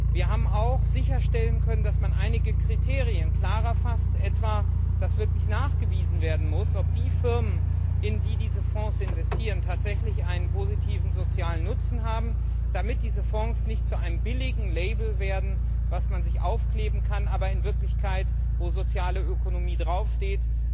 Wir haben auch sicherstellen können, dass man einige Kriterien klarer fasst, etwa, dass wirklich nachgewiesen werden muss, ob die Firmen, in die diese Fonds investieren, tatsächlich einen sozialen Nutzen haben, damit diese Fonds nicht zu einem billigen Label werden, das man sich aufkleben kann, aber in Wirklichkeit, wo soziale Ökonomie draufsteht,